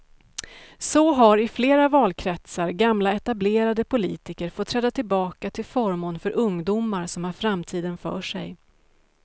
Så har i flera valkretsar gamla etablerade politiker fått träda tillbaka till förmån för ungdomar som har framtiden för sig.